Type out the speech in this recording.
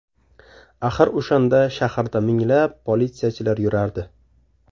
Axir o‘shanda shaharda minglab politsiyachilar yurardi.